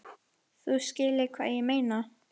Þú skilur hvað ég meina?